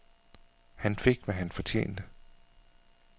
Han fik, hvad han fortjente.